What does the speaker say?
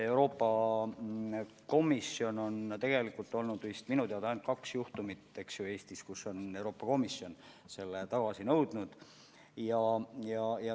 Euroopa Komisjonis on olnud minu teada ainult kaks Eestiga seotud juhtumit, kui Euroopa Komisjon on riigiabi tagasi nõudnud.